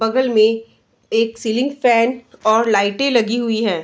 बगल में एक सीलिंग फैन और लाइटे लगी हुई है।